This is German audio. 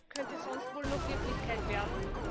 könnte sonst wohl noch Wirklichkeit werden.